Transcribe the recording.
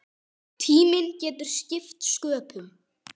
Tíminn getur skipt sköpum.